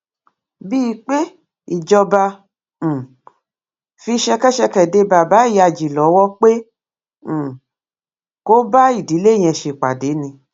bíi pé ìjọba um fi ṣẹkẹṣẹkẹ dé baba ìyájí lọwọ pé um kó bá ìdílé yẹn ṣèpàdé ni